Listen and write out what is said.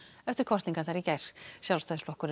eftir kosningarnar í gær Sjálfstæðisflokkurinn